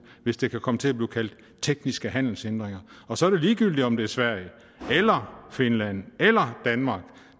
hvis det kan komme til at blive kaldt tekniske handelshindringer og så er det ligegyldigt om det er sverige eller finland eller danmark